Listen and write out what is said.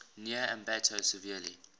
near ambato severely